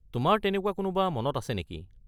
তোমাৰ তেনেকুৱা কোনোবা মনত আছে নেকি?